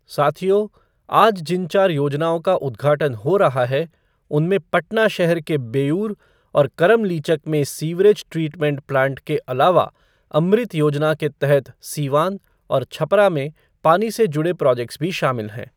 साथियो, आज जिन चार योजनाओं का उद्घाटन हो रहा है, उनमें पटना शहर के बेऊर और करम लीचक में सीवरेज ट्रीटमेंट प्लांट के अलावा अमृत योजना के तहत सीवान और छपरा में पानी से जुड़े प्रोजेक्ट्स भी शामिल हैं।